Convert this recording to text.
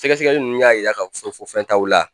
Sɛgɛsɛgɛli ninnu y'a jira k'a fɔ ko fɛn t'aw la